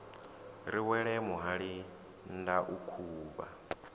ri wele muhali ndau khuvha